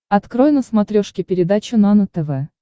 открой на смотрешке передачу нано тв